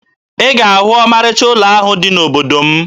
Ị ga-ahụ ọmarịcha ụlọ ahụ dị n'obodo m